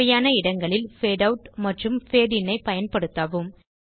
தேவையான இடங்களில் fade out மற்றும் பேட் இன் ஐ பயன்படுத்தவும்